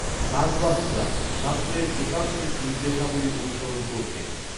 সাতবাহনরা শাস্ত্রের প্রশাসনিক নির্দেশাবলী অনুসরণ করতেন।